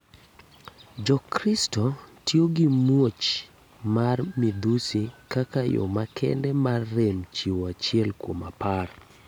Jo kristo tiyo gi muoch mar midhusi kaka yo makende mar rem chiwo achiel kuom apar.